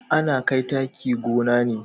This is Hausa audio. Ana kai taki gona ne